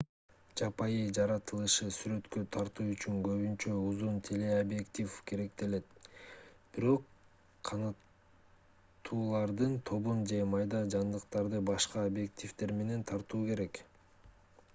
жапайы жаратылышты сүрөткө тартуу үчүн көбүнчө узун телеобъектив керектелет бирок канаттуулардын тобун же майда жандыктарды башка объективдер менен тартуу керек